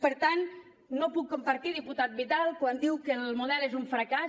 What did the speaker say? per tant no ho puc compartir diputat vidal quan diu que el model és un fracàs